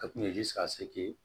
Ka kun ye